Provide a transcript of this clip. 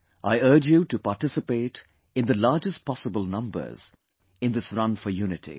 I urge you to participate in the largest possible numbers in this run for unity